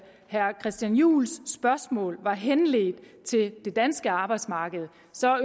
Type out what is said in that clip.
herre christian juhls spørgsmål er henledt til det danske arbejdsmarked